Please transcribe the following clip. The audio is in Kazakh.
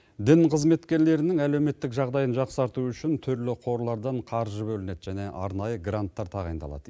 дін қызметкерлерінің әлеуметтік жағдайын жақсарту үшін түрлі қорлардан қаржы бөлінеді және арнайы гранттар тағайындалады